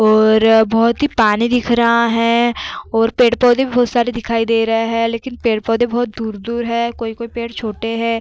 और बहोत ही पानी दिख रहा है और पेड़-पौधे भी बहोत सारे दिखाई दे रहे हैं लेकिन पेड़-पौधे बहोत दूर-दूर हैं। कोई-कोई पेड़ छोटे हैं।